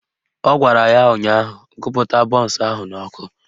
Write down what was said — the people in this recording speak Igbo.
Ọ gwara ya ụnyaahụ "Gụpụta bọnsụ ahụ n'ọkụ"